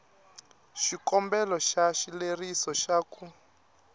xikombelo xa xileriso xa ku